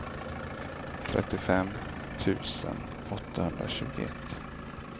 trettiofem tusen åttahundratjugoett